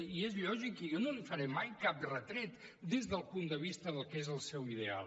i és lògic i jo no li faré mai cap retret des del punt de vista del que és el seu ideal